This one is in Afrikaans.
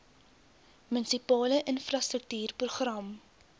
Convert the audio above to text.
munisipale infrastruktuur program